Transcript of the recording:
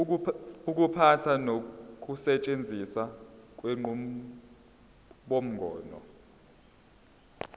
ukuphatha nokusetshenziswa kwenqubomgomo